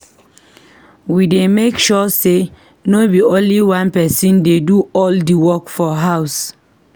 We dey make sure say no be only one pesin dey do all the work for house.